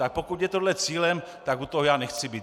Tak pokud je tohle cílem, tak u toho já nechci být.